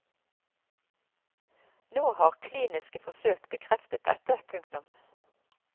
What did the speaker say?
Nå har kliniske forsøk bekreftet dette. punktum